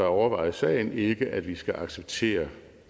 overvejet sagen ikke at vi skal acceptere